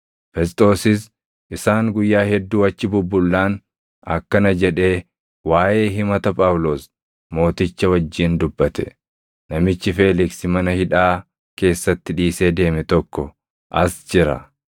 Fesxoosis isaan guyyaa hedduu achi bubbullaan akkana jedhee waaʼee himata Phaawulos mooticha wajjin dubbate; “Namichi Feeliksi mana hidhaa keessatti dhiisee deeme tokko as jira.